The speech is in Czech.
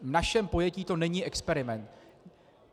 V našem pojetí to není experiment.